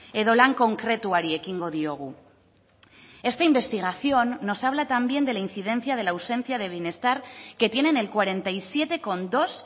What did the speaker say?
edo lan konkretuari ekingo diogu esta investigación nos habla también de la incidencia de la ausencia de bienestar que tienen el cuarenta y siete coma dos